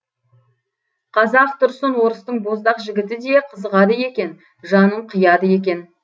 қазак тұрсын орыстың боздақ жігіті де қызығады екен жанын қияды екен